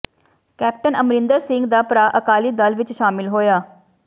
captain Amarinder Singh ਦਾ ਭਰਾ ਅਕਾਲੀ ਦਲ ਵਿੱਚ ਸ਼ਾਮਿਲ ਹੋਇਆ